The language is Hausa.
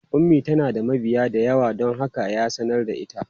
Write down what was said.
Ummi tana da mabiya da yawa don haka ya sanar da ita.